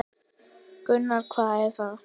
Gunnar: Hvað er það?